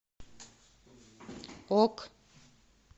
ок